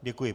Děkuji.